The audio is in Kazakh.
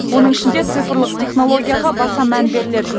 оның ішінде цифрлық технологияға баса мән беріледі